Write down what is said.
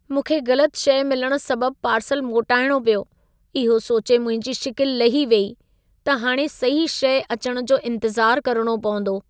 मूंखे ग़लति शइ मिलण सबबु पार्सलु मोटाइणो पियो। इहो सोचे मुंहिंजी शिकिल लही वेई त हाणे सही शइ अचण जो इंतज़ार करणो पवंदो।